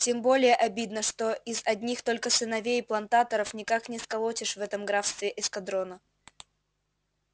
тем более обидно что из одних только сыновей плантаторов никак не сколотишь в этом графстве эскадрона